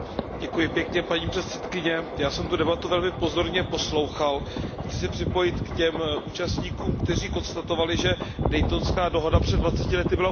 Paní předsedající, já jsem tu debatu velmi pozorně poslouchal a chci se připojit k těm účastníkům, kteří konstatovali, že Daytonská mírová dohoda před dvaceti lety byla úspěšná.